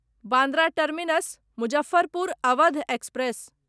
Bandra terminus Muzaffarpur Awadh express